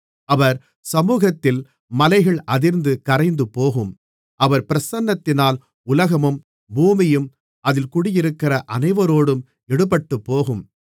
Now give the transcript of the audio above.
அவர் சமுகத்தில் மலைகள் அதிர்ந்து கரைந்துபோகும் அவர் பிரசன்னத்தினால் உலகமும் பூமியும் அதில் குடியிருக்கிற அனைவரோடும் எடுபட்டுப்போகும்